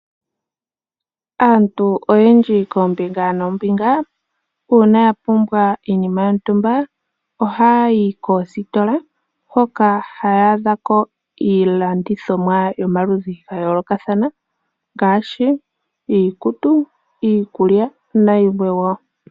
Aantu oyendji koombinga noombinga, uuna yapumbwa iinima yontumba, ohayayi koositola, hoka haya adhako iilandithomwa yomaludhi gayoolokathana, ngaashi iikutu, iikulya, nayilwe wo.